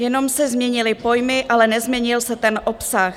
Jenom se změnily pojmy, ale nezměnil se ten obsah.